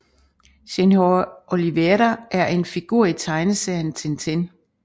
Senhor Olivera er en figur i tegneserien Tintin